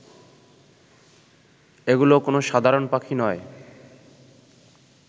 এগুলো কোনো সাধারণ পাখি নয়